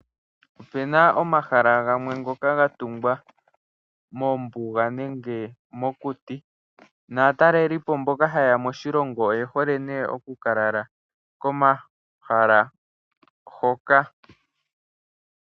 Opu na omahala gamwe ngoka ga tungwa mombuga nenge mokuti. Aatalelipo mboka haye ya moshilongo oye hole nduno oku ka lala komahala hoka.